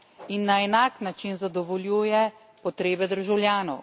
in na enak način zadovoljuje potrebe državljanov.